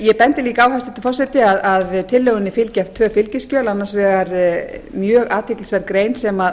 ég bendi líka á hæstvirtur forseti að tillögunni fylgja tvö fylgiskjöl annars vegar mjög athyglisverð grein sem